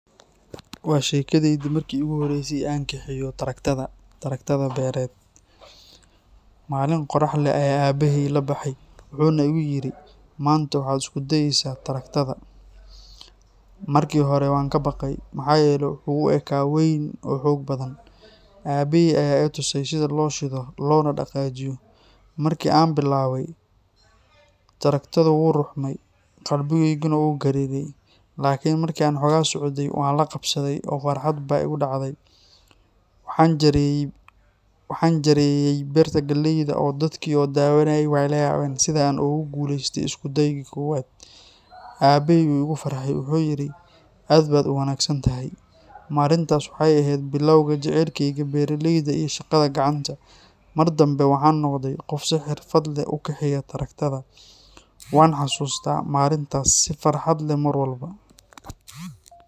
Waa sheekadaydii markii iigu horreysay ee aan kaxeeyo taraktada beereed. Maalin qorrax leh ayaan aabbahay ila baxay, wuxuuna igu yiri, "Maanta waxaad isku dayaysaa taraktada." Markii hore waan ka baqay, maxaa yeelay wuxuu u ekaa weyn oo xoog badan. Aabbahay ayaa i tusay sida loo shido, loona dhaqaajiyo. Markii aan bilowday, taraktadu wuu ruxmay, qalbigayguna wuu gariiray. Laakiin markii aan xoogaa socday, waan la qabsaday, oo farxad baa igu dhacday. Waxaan jarayey beerta galleyda oo dadkii na daawanayey way la yaabeen sidaan ugu guuleystay isku daygii koowaad. Aabbahay wuu iga farxay, wuxuu yiri, "Aad baad u wanaagsan tahay." Maalintaas waxay ahayd bilowga jacaylkeyga beeraleyda iyo shaqada gacanta. Mar dambe waxaan noqday qof si xirfad leh u kaxeeya taraktoorka. Waan xasuustaa maalintaas si farxad leh mar walba